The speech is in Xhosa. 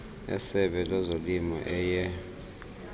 esebe lezolimo eye